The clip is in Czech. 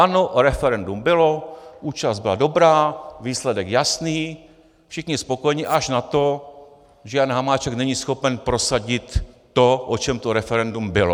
Ano, referendum bylo, účast byla dobrá, výsledek jasný, všichni spokojení až na to, že Jan Hamáček není schopen prosadit to, o čem to referendum bylo.